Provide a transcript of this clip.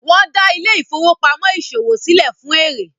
wón dá Ile-ifowopamọ ìṣòwò silẹ fún èrè.